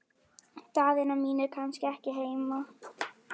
Daðína mín er kannski ekki heima?